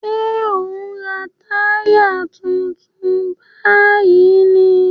Ṣé ò ń ra táyà tuntun báyìí ni?